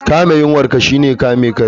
Kame yunwar ka shine kame kai